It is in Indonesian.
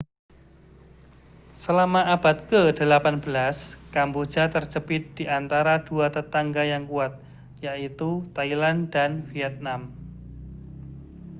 selama abad ke-18 kamboja terjepit di antara dua tetangga yang kuat yaitu thailand dan vietnam